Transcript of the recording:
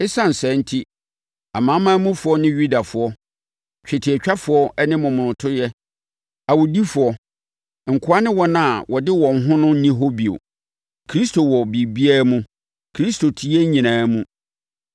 Esiane saa enti, amanamanmufoɔ ne Yudafoɔ, twetiatwafoɔ ne momonotoyɛ, awudifoɔ, nkoa ne wɔn a wɔde wɔn ho no nni hɔ bio. Kristo wɔ biribiara mu. Kristo te yɛn nyinaa mu.